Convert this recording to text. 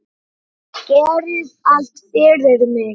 Gerðir allt fyrir mig.